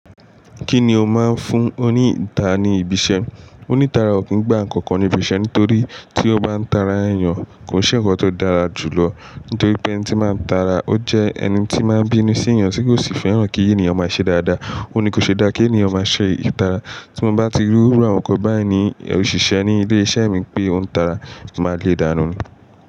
Kí ni o máa ń fún oní ìta ni ibi iṣẹ́? Oní tara ò kí ń gba nǹkan kan ní ibi iṣẹ́ nítorí tí ó bá ń tara èèyàn, kò ṣe nnkan tó dára jù lọ. Nítorí pé ẹni tí n ba ń tara, ó jẹ́ ẹni tí máa ń bínú sí èèyàn tí kò sì fẹ́ràn kí èniyàn máa ṣe dáadáa. Óun ní kò ṣe dáa kí èniyàn máa ṣe ìtara. Tí mo bá ti rí irú àwọn ǹkan báyìí ní òṣìṣẹ́ ní ilé iṣẹ́ mi pé ó ń tara, mo máa le dánu ni.